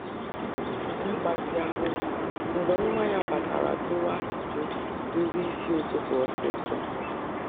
Ọ kwụsịrị ịgbatị ahu mgbe nwa ya batara juwa ajụjụ nri isi ụtụtụ ósisọ